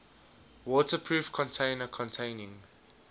waterproof container containing